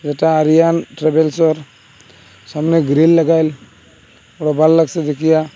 এটা আরিয়ান ট্রাভেলসের সামনে গ্রীল লাগাইল ওটা ভাল লাগসে দেখিয়া।